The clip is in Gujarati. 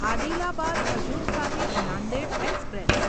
આદિલાબાદ હજૂર સાહિબ નાંદેડ એક્સપ્રેસ